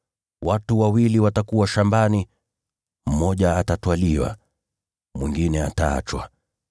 Watu wawili watakuwa shambani, naye mmoja atatwaliwa na mwingine ataachwa.